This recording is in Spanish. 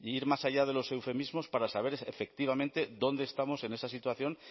ir más allá de los eufemismos para saber efectivamente dónde estamos en esa situación